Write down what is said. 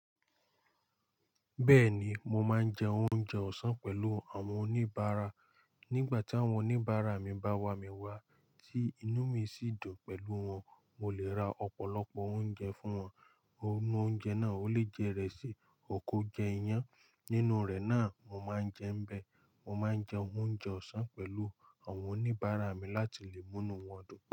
Bẹ́ẹ̀ni, mo máa ń jẹ oúnjẹ ọ̀sán pẹ̀lú àwọn oníbàárà. Nígbà tí àwọn oníbàárà mi bá wamí wá, tí inú mi sì dùn pẹ̀lú wọn, mo lè ra ọ̀pọ̀lọpọ̀ oúnjẹ fún wọn. Ohun oúnjẹ náà ò lè jẹ ìrẹsì, ò kó jẹ iyán. Nínú rẹ̀ náà, mo máa ń jẹ ń bẹ. Mo máa ń jẹ oúnjẹ ọ̀sán pẹ̀lú àwọn oníbàárà mi láti lè mú nu wọn dùn.